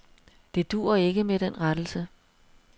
Det duer ikke med den rettelse.